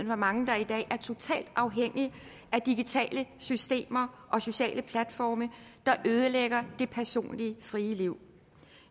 hvor mange der i dag er total afhængig af digitale systemer og sociale platforme der ødelægger det personlige frie liv